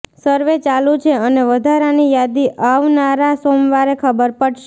સર્વે ચાલુ છે અને વધારાની યાદી આવનારા સોમવારે ખબર પડશે